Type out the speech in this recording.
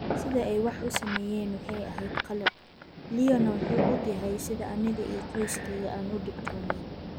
"Sida ay wax u sameeyeen waxay ahayd qalad, Leo-na wuu ogyahay sida aniga iyo qoyskeyga aan u dhibtoonay."